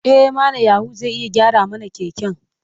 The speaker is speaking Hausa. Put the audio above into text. E, Malam Ya'u zai iya gyara mana keken.